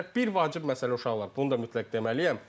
Bir vacib məsələ uşaqlar, bunu da mütləq deməliyəm.